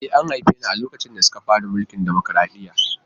E, an haife ni a lokacin da suka fara mulkin dimokuradiyya.